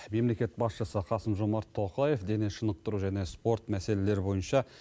мемлекет басшысы қасым жомарт тоқаев дене шынықтыру және спорт мәселелері бойынша